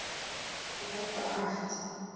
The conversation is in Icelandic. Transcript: Ég hef bara æft.